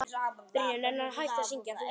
Þú veist það vel.